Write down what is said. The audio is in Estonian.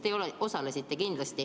Te kindlasti osalesite.